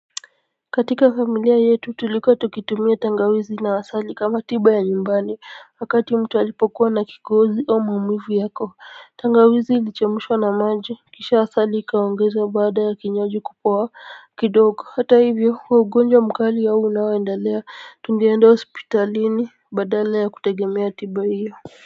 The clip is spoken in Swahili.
Katika familia yetu tulikuwa tukitumia tangawizi na asali kama tiba ya nyumbani wakati mtu alipokuwa na kikohozi au maumivu ya koo tangawizi ilichemshwa na maji kisha asali ikaongezwa baada ya maji kupoa kidogo hata hivyo huo ugonjwa mkali au unaoendalea tungeenda hospitalini badala ya kutegemea tiba hiyo kwa hivyo.